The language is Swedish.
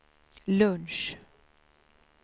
lunch